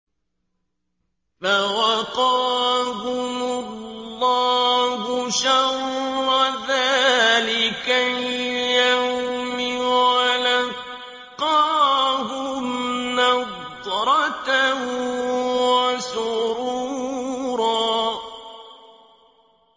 فَوَقَاهُمُ اللَّهُ شَرَّ ذَٰلِكَ الْيَوْمِ وَلَقَّاهُمْ نَضْرَةً وَسُرُورًا